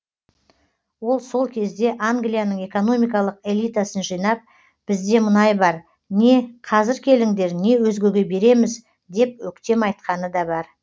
ол сол кезде англияның экономикалық элитасын жинап бізде мұнай бар не қазір келіңдер не өзгеге береміз деп өктем айтқаны да бар